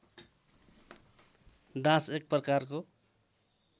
dance एक प्रकारको